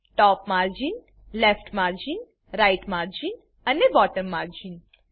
ટોપ margin left margin right margin અને bottom margin